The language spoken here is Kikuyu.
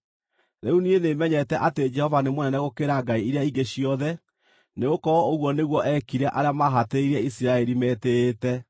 Rĩu niĩ nĩmenyete atĩ Jehova nĩ mũnene gũkĩra ngai iria ingĩ ciothe, nĩgũkorwo ũguo nĩguo eekire arĩa maahatĩrĩirie Isiraeli metĩĩte.”